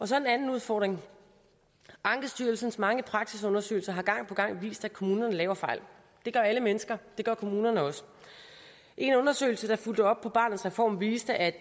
så en anden udfordring ankestyrelsens mange praksisundersøgelser har gang på gang vist at kommunerne laver fejl det gør alle mennesker det gør kommunerne også en undersøgelse der fulgte op på barnets reform viste at